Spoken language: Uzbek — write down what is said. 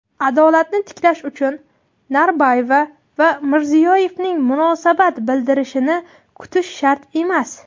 adolatni tiklash uchun Norboyeva va Mirziyoyevaning munosabat bildirishini kutish shart emas.